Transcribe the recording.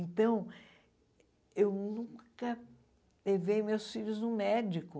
Então, eu nunca levei meus filhos no médico.